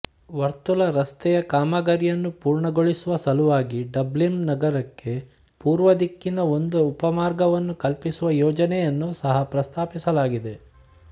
ವರ್ತುಲ ರಸ್ತೆಯ ಕಾಮಗಾರಿಯನ್ನು ಪೂರ್ಣಗೊಳಿಸುವ ಸಲುವಾಗಿ ಡಬ್ಲಿನ್ ನಗರಕ್ಕೆ ಪೂರ್ವ ದಿಕ್ಕಿನ ಒಂದು ಉಪಮಾರ್ಗವನ್ನು ಕಲ್ಪಿಸುವ ಯೋಜನೆಯನ್ನೂ ಸಹ ಪ್ರಸ್ತಾಪಿಸಲಾಗಿದೆ